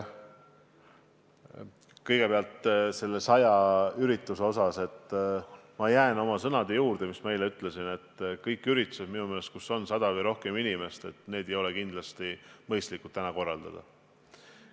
Kõigepealt nende saja inimesega ürituste kohta: ma jään nende sõnade juurde, mis ma eile ütlesin, et ühtegi üritust, kus osaleb sada või rohkem inimest, ei ole mõistlik täna korraldada.